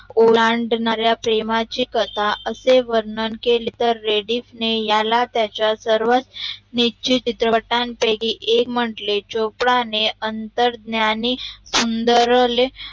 ओलांडनाऱ्या प्रेमाची कथा असे वर्णन केले तर रेडिस ने याला त्याचा सर्व नीचित चित्रपटान पैकी एक म्हटले चोपडाणे अंतरज्ञानी सुंदरले